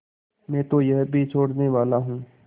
मैं तो यह भी छोड़नेवाला हूँ